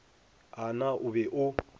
a na o be o